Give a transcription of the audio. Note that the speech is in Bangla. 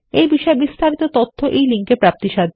এই বিষয় বিস্তারিত তথ্য এই লিঙ্ক এ প্রাপ্তিসাধ্য